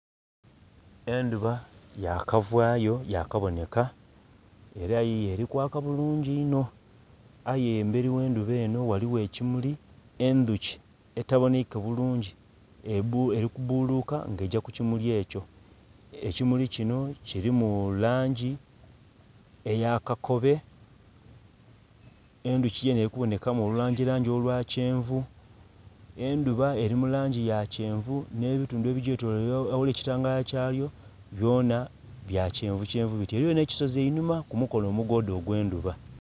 Endhuba yakavaayo, yakaboneka, era yiyo eri kwaka bulungi inho. Aye emberi gh'endhuba enho ghaligho ekimuli, endhuki etaboneike bulungi eli kubuluka nga egya ku kimuli ekyo. Ekimuli kino kilimu langi eya kakobe, endhuki yenhe elikubonekamu olulangi langi olwa kyenvu. Endhuba eli mu langi ya kyenvu nh'ebitundhu ebigyetoloire aghali ekitangala kyayo byona bya kyenvukyenvu bityo. Eliyo nh'ekisozi einhuma ku mukono omugooda ogw'endhuba.